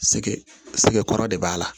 Sɛgɛ sɛgɛkɔrɔ de b'a la